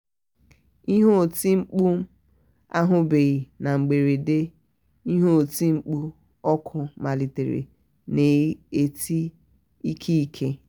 ihe oti mkpu m anyụbeghi na mberede ihe oti mkpu ọkụ malitere na-eti n'ike n'ike